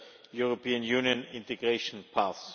European Union integration path.